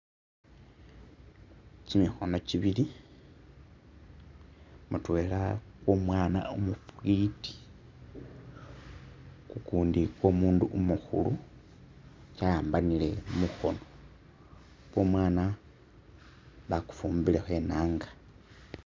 Kyimikhono kyibili mutwela kwo'mwana umufiti kukundi kwo'mundu umukhulu kya'ambanile mukhoono kwo'mwana bakufumbilekho inanga